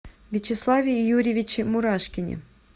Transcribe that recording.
вячеславе юрьевиче мурашкине